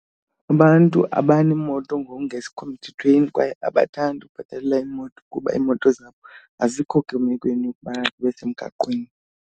Abantu abaneemoto ngokungesikho mthethweni kwaye abathandi ukubhatalela iimoto kuba iimoto zabo azikho kwimekweni yokuba zibe semgaqweni.